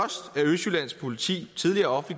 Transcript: østjyllands politi tidligere